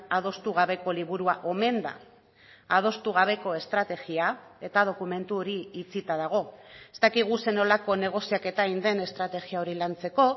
adostu gabeko liburua omen da adostu gabeko estrategia eta dokumentu hori itxita dago ez dakigu zer nolako negoziaketa egin den estrategia hori lantzeko